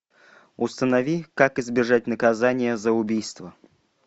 установи как избежать наказания за убийство